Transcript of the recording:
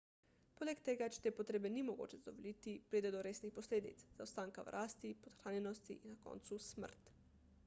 poleg tega če te potrebe ni mogoče zadovoljiti pride do resnih posledic zaostanka v rasti podhranjenosti in na koncu smrt